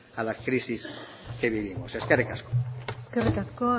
a la crisis que vivimos eskerrik asko eskerrik asko